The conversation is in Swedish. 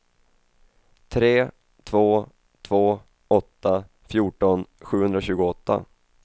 tre två två åtta fjorton sjuhundratjugoåtta